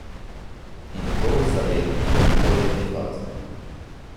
In to v zaletni in poletni fazi.